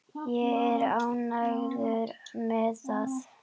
Ég er ánægður með það.